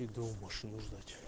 иду машину ждать